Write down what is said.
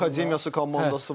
Akademiyası, komandası var.